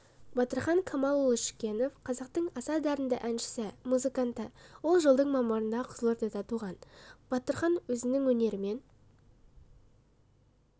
батырхан камалұлы шүкенов қазақтың аса дарынды әншісі музыканты ол жылдың мамырында қызылордада туған батырхан өзінің өнерімен